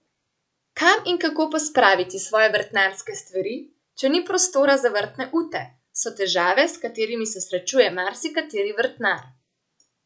Kam in kako pospraviti svoje vrtnarske stvari, če ni prostora za vrtne ute, so težave, s katerimi se srečuje marsikateri vrtnar.